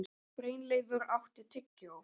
Brynleifur, áttu tyggjó?